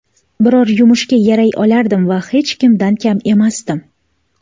Biror yumushga yaray olardim va hech kimdan kam emasdim.